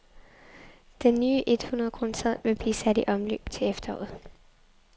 Den nye et hundred kroneseddel vi blive sat i omløb til efteråret.